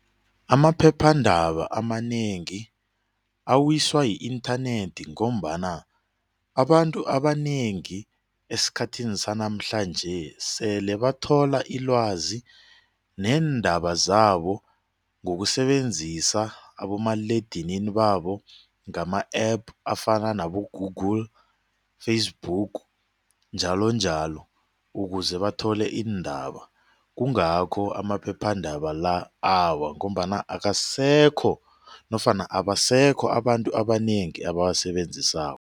Amaphephandaba amanengi awiswa yi-inthanethi ngombana abantu abanengi esikhathini sanamhlanje sele bathola ilwazi neendaba zabo ngokusebenzisa abomaliledinini babo ngama-APP afana nabo-Google, Facebook njalonjalo ukuze bathole iindaba kungakho amaphephandaba la awa ngombana akasekho nofana abasekho abantu abanengi abawasebenzisako.